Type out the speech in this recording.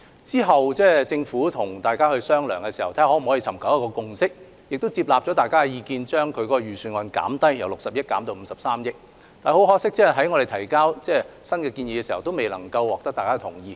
之後，政府與委員商量，尋求共識，並接納委員的意見，將預算造價由60億元減至53億元，但很可惜，我們當時的修訂建議亦未能獲得委員的同意。